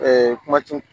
kuma ti